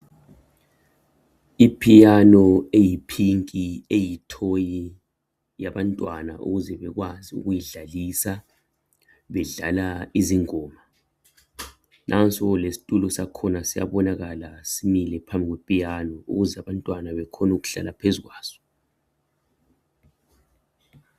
Iphiyano eyi pinki eyithoyi yabantwana ukuze bekwazi ukuyidlalisa bedlala izingoma. Nansi lesitulo sakhona siyabonakala simile phambi kwe piyano ukuze abantwana bakhonu ukuhlala phezukwaso.